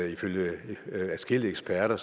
ifølge adskillige eksperter